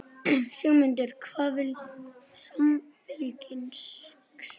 Sigmundur: Hvað vill Samfylkingin?